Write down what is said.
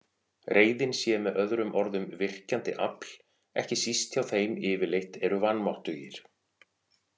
Reiðin sé með öðrum orðum virkjandi afl, ekki síst hjá þeim yfirleitt eru vanmáttugir.